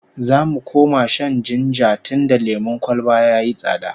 Za mu koma shan jinja tunda lemon kwalba yayi tsada